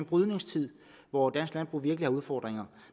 brydningstid hvor dansk landbrug virkelig har udfordringer